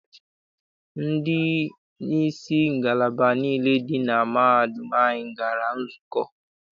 Ndị isi ngalaba niile dị na mahadum anyị gara nzukọ.